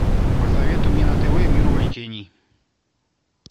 посоветуй мне на тв мир увлечений